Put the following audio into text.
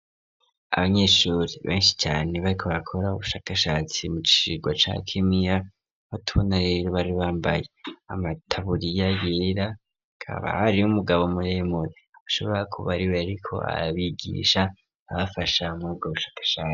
Abanyeshuri benshi cane bariko bakora ubushakashatsi mu cigwa ca kemiya n'utunere bari bambaye amataburiya yera hakaba hariho umugabo muremure ashobora kuba ariwe yariko abigisha abafasha muri ubwo bushakashatsi.